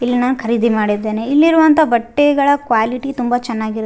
ಇಲ್ಲಿ ನಾನ್ ಖರೀದಿ ಮಾಡಿದ್ದೇನೆ ಇಲ್ಲಿರುವಂತ ಬಟ್ಟೆಗಳ ಕ್ವಾಲಿಟಿ ತುಂಬ ಚೆನ್ನಾಗಿರುತ್ --